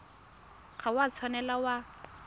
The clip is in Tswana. ga o a tshwanela wa